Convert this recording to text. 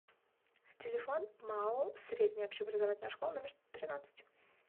телефон маоу средняя общеобразовательная школа номер тринадцать